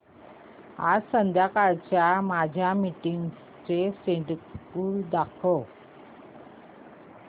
आज संध्याकाळच्या माझ्या मीटिंग्सचे शेड्यूल दाखव